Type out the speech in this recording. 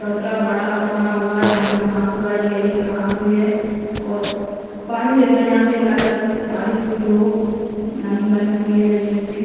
चबूतरा बड़ा बना हुआ है जहाँ पर घास उगाई गई है घास हुई है और पानी जैसा यहाँ पे लग रहा है जैसे बारिश हुई हो नमी बनी हुई है जमीन में--